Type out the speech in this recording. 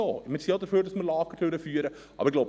Wir sind auch dafür, dass Lager durchgeführt werden.